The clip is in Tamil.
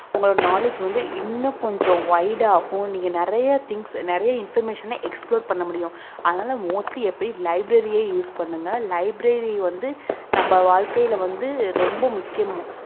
உங்களோட knowledge வந்து இன்னும் கொஞ்சம் wide ஆகும் நீங்க நிறைய things நிறைய information அ explore பண்ண முடியும் அதனால mostly எப்பயும் library யே use பண்ணுங்க library வந்து நம்ம வாழ்க்கையில வந்து ரொம்ப முக்கியமும்